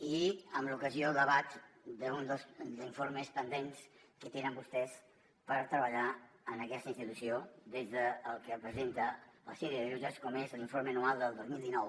i amb l’ocasió a debat d’un dels informes pendents que tenen vostès per treballar en aquesta institució des del que presenta el síndic de greuges com és l’informe anual del dos mil dinou